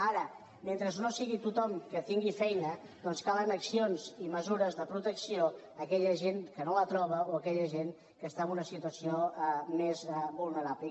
ara mentre no sigui tothom que tingui feina doncs calen accions i mesures de protecció a aquella gent que no la troba o a aquella gent que està en una situació més vulnerable